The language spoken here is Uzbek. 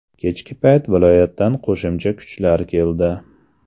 Kechki payt viloyatdan qo‘shimcha kuchlar keldi.